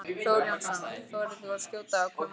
Þór Jónsson: Þorir þú að skjóta á hve margir?